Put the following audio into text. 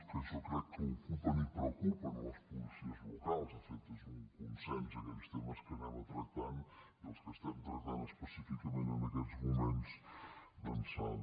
que jo crec que ocupen i preocupen les policies locals de fet és un consens aquells temes que anem a tractar i els que estem tractant específicament en aquests moments d’ençà de